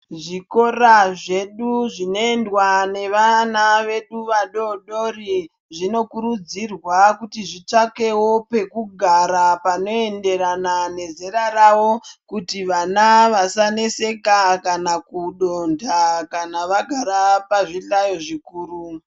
Zvikora zvedu zvinoendwa nevana vedu vadodori, zvinokurudzirwa kuti zvitsvakewo pekugara panoenderana nezera ravo, kuti vana vasaneseka kana kudonha kana vagara pazvihlayo zvikuru.